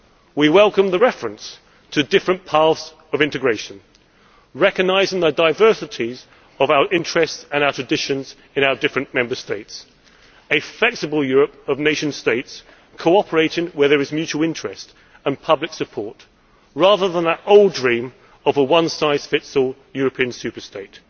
We welcome the reference to different paths of integration, recognising the diversities of our interests and our traditions in our different Member States, a flexible Europe of nation states cooperating where there is mutual interest and public support rather than that old dream of a one size fits all European super state.